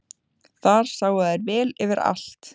Þar sáu þær vel yfir allt.